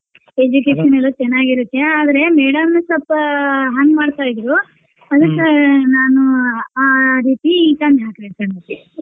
Education ಎಲ್ಲ ಚನಾಗಿರುತ್ತೆ ಆದ್ರೆ madam ಸಲ್ಪ ಹಂಗ್ ಮಾಡ್ತಾಇದ್ರು ಅದ್ಕ ನಾನು ಆ ರೀತಿ ತಂದ್ ಹಾಕ್ದೆ sir ಅದಕ್ಕೆ.